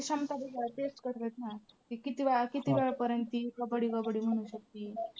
क्षमता बी check करत्यात ना ती कितीवेळा किती वेळपर्यंत ती कबड्डी कबड्डी म्हणू शकती.